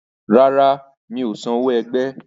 Rárá, mi ò san owó ẹgbẹ́.